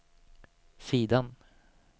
sidan